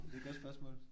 Det er et godt spørgsmål